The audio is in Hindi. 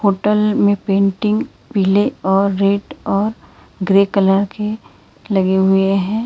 होटल में पेंटिंग पीले और रेड और ग्रे कलर के लगे हुए हैं।